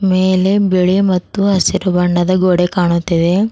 ಮೇಲೆ ಬಿಳಿ ಮತ್ತು ಹಸಿರು ಬಣ್ಣದ ಗೋಡೆ ಕಾಣುತ್ತಿದೆ.